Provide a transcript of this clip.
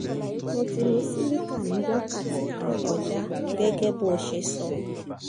mo ti lo cilicar ní wákàti kan kọjá gẹ́gẹ́ bọ́ ṣe sọ